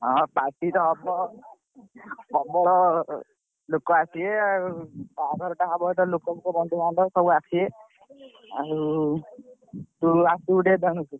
ହଁ party ତ ହବ ଆଉ ହବ ପ୍ରବଳ ଲୋକ ଆସିବେ ଆଉ ବାହାଘର ଟା ହବ ଯେତେବେଳେ ଲୋକ ଫୋକ ବନ୍ଧୁ ବାନ୍ଧବ ସବୁ ଆସିବେ ଆଉ ତୁ ଆସିବୁ ଟିକେ ।